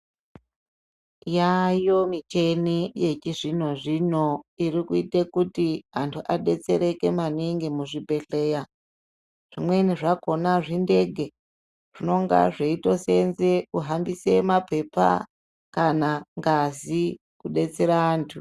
Yaayo michini yechizvino-zvino iri kuite kuti antu adetsereke maningi muzvibhedhlera. Zvimweni zvakhona zvindege zvinenge zvechitoseenze kuhambise mapepa kana ngazi kudetsera antu.